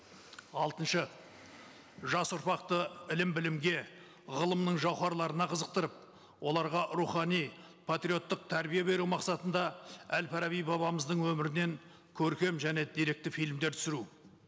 алтыншы жас ұрпақты ілім білімге ғылымның жауһарларына қызықтырып оларға рухани патриоттық тәрбие беру мақсатында әл фараби бабамыздың өмірінен көркем және деректі фильмдер түсіру